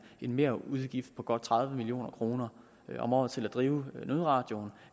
merudgift på godt tredive million kroner om året til at drive nødradioen